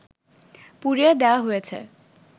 পুড়িয়ে দেয়া হয়েছে